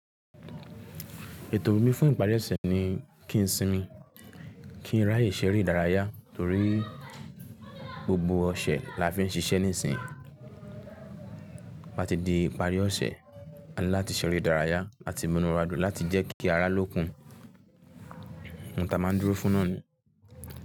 Ètò mi fún ìparí ọ̀sẹ̀ ni kí n sinmi, kí n ráyè ṣeré ìdárayá torí gbogbo ọ̀sẹ̀ la fi ń ṣiṣẹ́ níìsín. Bá ti di ìparí ọ̀sẹ̀, a ni láti ṣeré ìdárayá làti munuwadun láti jẹ́ kí ara lókun. Ohun ta máa ń dúró fún náà ni.